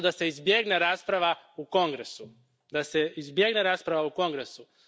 Zato da se izbjegne rasprava u Kongresu, da se izbjegne rasprava u Kongresu.